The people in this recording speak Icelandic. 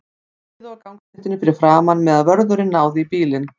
Þeir biðu á gangstéttinni fyrir framan, meðan vörðurinn náði í bílinn.